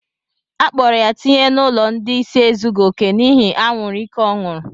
Akpọrọ ya tinye n'ụlọ ndị ịsị ezughi oke n'ihi anwuru ike ọ ñụrụ